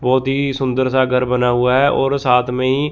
बहोत ही सुंदर सा घर बना हुआ है और साथ में ही--